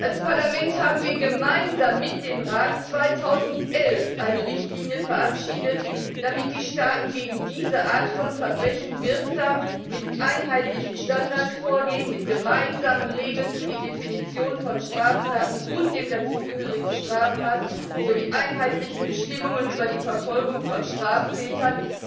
Als Parlament haben wir gemeinsam mit dem Rat 2011 eine Richtlinie verabschiedet, damit die Staaten gegen diese Art von Verbrechen wirksam mit einheitlichen Standards vorgehen, mit gemeinsamen Regeln für die Definition von Straftaten und des dazugehörigen Strafmaßes sowie mit einheitlichen Bestimmungen über die Verfolgung von Straftätern,